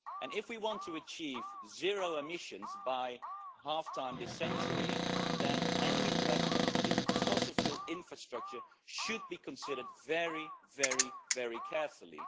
If we want to achieve zero emissions by half-time this century, then any investment in fossil fuel infrastructure should be considered very, very, very carefully.